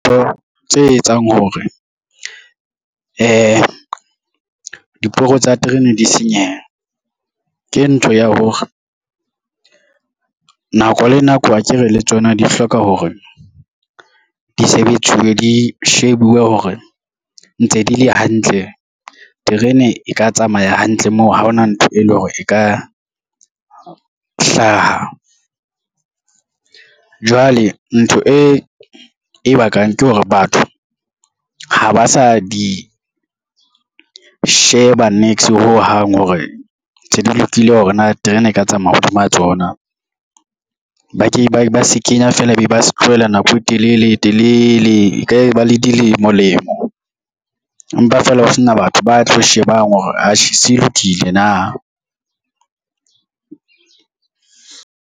Tse etsang hore diporo tsa terene di senyehe ke ntho ya hore, nako le nako akere le tsona di hloka hore di sebetsiwe, di shebuwe hore ntse di le hantle terene e ka tsamaya hantle moo ha ona ntho e leng hore e ka hlaha. Jwale ntho e bakang ke hore batho, ha ba sa di sheba niks ho hang hore se di lokile hore na terene e ka tsamaya hodima tsona, ba ke ba se kenya fela e be ba se tlohele nako e telele e telele e ka ba le dilemo lemo, empa fela ho sena batho ba tlo shebang hore atjhe se lokile na.